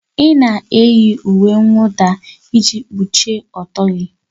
Ị na-eyi uwe mwụda iji kpuchie ọtọ gị